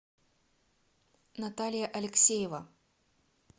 наталья алексеева